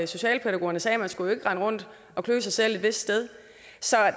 socialrådgiverne sagde man skulle jo ikke rende rundt og klø sig selv et vist sted så